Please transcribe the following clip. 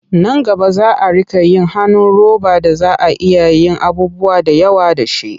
Nan gaba za a riƙa yin hannun roba da za a iya yin abubuwa da yawa da shi.